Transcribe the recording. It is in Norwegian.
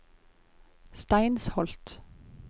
Steinsholt